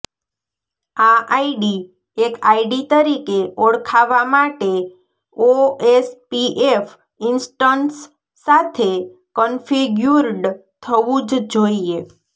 આ આઇડી એક આઇડી તરીકે ઓળખાવા માટે ઓએસપીએફ ઇન્સ્ટન્સ સાથે કન્ફિગ્યુર્ડ થવું જ જોઇએ